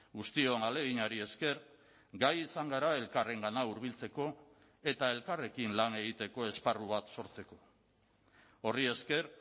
guztion ahaleginari esker gai izan gara elkarrengana hurbiltzeko eta elkarrekin lan egiteko esparru bat sortzeko horri esker